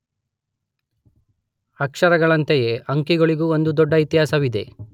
ಅಕ್ಷರಗಳಂತೆಯೇ ಅಂಕಿಗಳಿಗೂ ಒಂದು ದೊಡ್ಡ ಇತಿಹಾಸವಿದೆ.